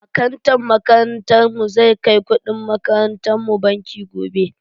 Akantan makarantar mu zai kai kudin makarantan mu banki gobe.